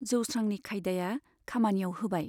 जौस्रांनि खायदाया खामानियाव होबाय।